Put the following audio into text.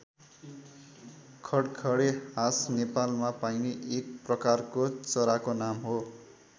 खडखडे हाँस नेपालमा पाइने एक प्रकारको चराको नाम हो।